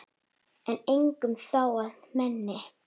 en engum þó að meini